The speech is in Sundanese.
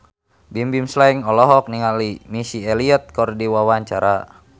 Bimbim Slank olohok ningali Missy Elliott keur diwawancara